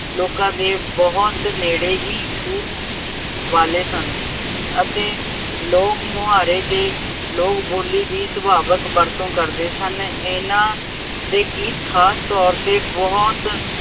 ਲੋਕਾਂ ਦੇ ਬਹੁਤ ਨੇੜੇ ਹੀ ਛੂਹ ਵਾਲੇ ਸਨ ਅਤੇ ਲੋਕ ਮੁਹਾਰੇ ਦੇ ਲੋਕ ਬੋ਼ਲੀ ਦੀ ਸੁਭਾਵਿਕ ਵਰਤੋਂ ਕਰਦੇ ਸਨ। ਇਹਨਾ ਦੇ ਗੀਤ ਖਾਸ ਤੌਰ ਤੇ ਬਹੁਤ